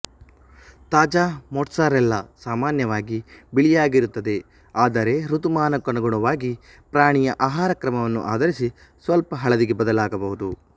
ತಾಜಾ ಮೋಟ್ಸರೆಲ್ಲಾ ಸಾಮಾನ್ಯವಾಗಿ ಬಿಳಿಯಾಗಿರುತ್ತದೆ ಆದರೆ ಋತುಮಾನಕ್ಕನುಗುಣವಾಗಿ ಪ್ರಾಣಿಯ ಆಹಾರಕ್ರಮವನ್ನು ಆಧರಿಸಿ ಸ್ವಲ್ಪ ಹಳದಿಗೆ ಬದಲಾಗಬಹುದು